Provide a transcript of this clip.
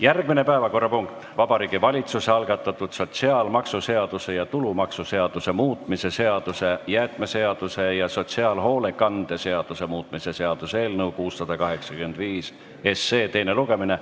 Järgmine päevakorrapunkt: Vabariigi Valitsuse algatatud sotsiaalmaksuseaduse ja tulumaksuseaduse muutmise seaduse, jäätmeseaduse ja sotsiaalhoolekande seaduse muutmise seaduse eelnõu teine lugemine.